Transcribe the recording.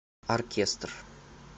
оркестр